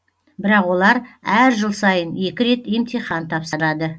бірақ олар әр жыл сайын екі рет емтихан тапсырады